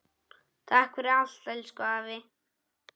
Takk fyrir allt, elsku afi.